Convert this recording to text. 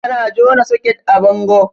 Ana jona soket a bango